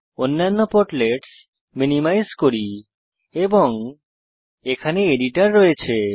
অন্যান্য portlets minimise করি এবং এখানে এডিটর রয়েছে